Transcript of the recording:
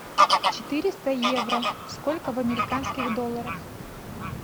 четыреста евро сколько в американских долларах